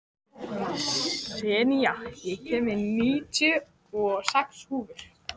Senía, ég kom með níutíu og sex húfur!